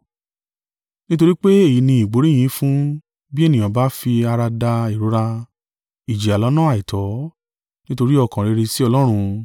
Nítorí pé èyí ní ìgbóríyìn fún, bí ènìyàn bá fi ara da ìrora, ìjìyà lọ́nà àìtọ́, nítorí ọkàn rere sí Ọlọ́run.